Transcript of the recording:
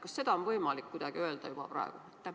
Kas seda on võimalik öelda juba praegu?